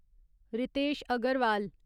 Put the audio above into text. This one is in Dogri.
रितेश अगरवाल